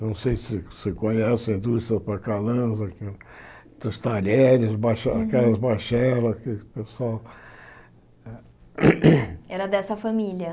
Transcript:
Não sei se você conhece a indústria, dos talheres, bacha aquelas bachelas que o pessoal... Era dessa família?